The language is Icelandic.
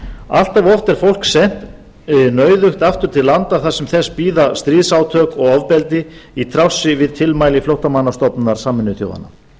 allt of oft er fólk sent nauðugt aftur til landa þar sem þess bíða stríðsátök og ofbeldi í trássi við tilmæli flóttamannastofnunar sameinuðu þjóðanna